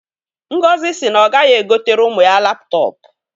Ngozi si na ọ gaghị egotere ụmụ ya laptọpụ